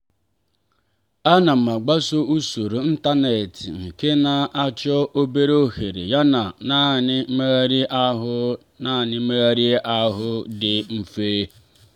a na m agbaso usoro ịntanetị nke na-achọ obere ohere yana naanị mmegharị ahụ naanị mmegharị ahụ dị mfe.